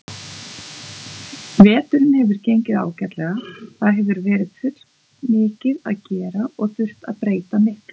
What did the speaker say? Veturinn hefur gengið ágætlega, það hefur verið fullmikið að gera og þurft að breyta miklu.